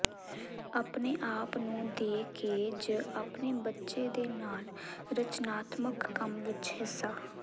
ਆਪਣੇ ਆਪ ਨੂੰ ਦੇ ਕੇ ਜ ਆਪਣੇ ਬੱਚੇ ਦੇ ਨਾਲ ਰਚਨਾਤਮਕ ਕੰਮ ਵਿਚ ਹਿੱਸਾ